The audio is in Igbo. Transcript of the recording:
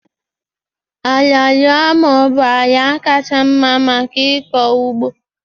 Ala loamo bụ ala kacha mma maka ịkọ ugbo